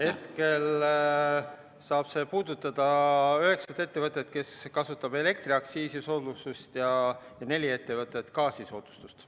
Hetkel saab see puudutada üheksat ettevõtet, kes kasutavad elektriaktsiisisoodustust, ja nelja ettevõtet, kes kasutavad gaasisoodustust.